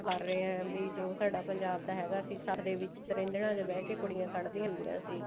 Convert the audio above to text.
ਕਰ ਰਹੇ ਹਾਂ ਵੀ ਜੋ ਸਾਡਾ ਪੰਜਾਬ ਦਾ ਹੈਗਾ ਸੀ ਸੱਥ ਤ੍ਰਿੰਝਨਾ ਚ ਬੀਹ ਕੇ ਕੁੜੀਆਂ ਕੱਢ ਦੀਆਂ ਹੁੰਦੀਆਂ ਸੀ